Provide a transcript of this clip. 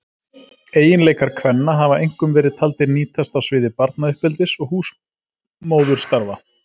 Eiginleikar kvenna hafa einkum verið taldir nýtast á sviði barnauppeldis og húsmóðurstarfa.